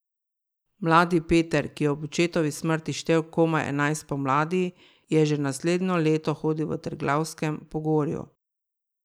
Mladi Peter, ki je ob očetovi smrti štel komaj enajst pomladi, je že naslednje leto hodil v Triglavskem pogorju.